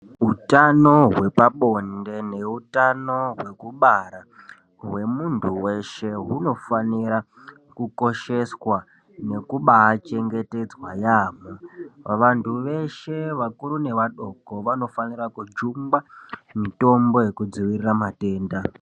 Utano hwepabode neutano hwekubara, hwemuntu weshe hunofanire kukosheswa nekubachengetedzwa yaampho. Vantu veshe vakuru nevadoko vanofanira kugugwa mitombo yekudzivirira matenda.